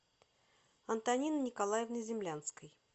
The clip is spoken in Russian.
антонины николаевны землянской